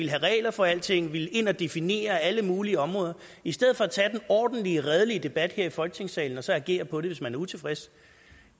have regler for alting at ville ind og definere alle mulige områder i stedet for at tage den ordentlige redelige debat her i folketingssalen og så agere på det hvis man er utilfreds